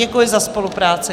Děkuji za spolupráci.